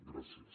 gràcies